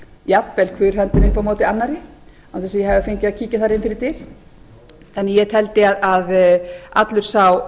jafnvel hver höndin upp á móti annarri án þess að ég hafi fengið að kíkja þar inn fyrir dyr en ég teldi að allir